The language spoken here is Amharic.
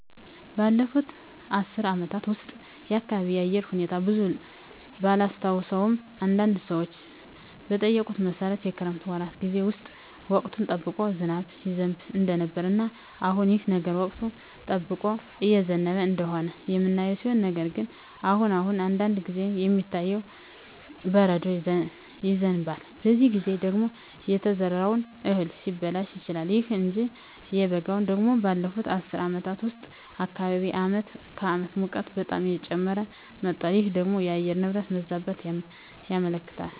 ባለፉት አስር አመታት ውስጥ የአካባቢየ የአየር ሁኔታ ብዙም ባላስታውሰውም አንዳንድ ሰዎችን በጠየኩት መሠረት የክረምት ወራት ጌዜ ውስጥ ወቅቱን ጠብቆ ዝናብ ይዘንብ እንደነበረ እና አሁንም ይህ ነገር ወቅቱን ጠብቆ እየዘነበ እንደሆነ የምናየው ሲሆን ነገር ግን አሁን አሁን አንዳንድ ጊዜ የሚታየው በረዶ ይዘንባል በዚህ ጊዜ ደግሞ የተዘራው እህል ሊበላሽ ይችላል። ይሁን እንጂ በበጋው ደግሞ ባለፋት አስር አመታት ውስጥ በአካባቢየ አመት ከአመት ሙቀቱ በጣም እየጨመረ መጧል ይህ ደግሞ የአየር ንብረት መዛባትን ያመለክታል